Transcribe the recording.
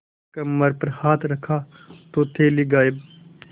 कमर पर हाथ रखा तो थैली गायब